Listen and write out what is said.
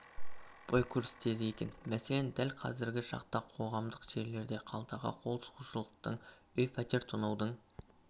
бой көрсетеді екен мәселен дәл қазіргі шақта қоғамдық жерлерде қалтаға қол сұғушылықтың үй пәтер тонаудың